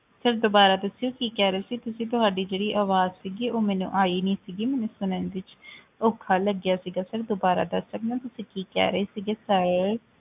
Sir ਦੁਬਾਰਾ ਦੱਸਿਓ ਕੀ ਕਹਿ ਰਹੇ ਸੀ ਤੁਸੀਂ ਤੁਹਾਡੀ ਜਿਹੜੀ ਆਵਾਜ਼ ਸੀਗੀ ਉਹ ਮੈਨੂੰ ਆਈ ਨੀ ਸੀਗੀ ਮੈਨੂੰ ਸੁਣਨ ਦੇ ਵਿੱਚ ਔਖਾ ਲੱਗਿਆ ਸੀਗਾ sir ਦੁਬਾਰਾ ਦੱਸ ਸਕਦੇ ਹੋ ਤੁਸੀਂ ਕਹਿ ਰਹੇ ਸੀਗੇ sir